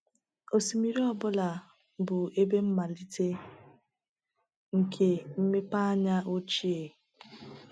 Osimiri ọ bụla bụ ebe mmalite nke mmepeanya ochie.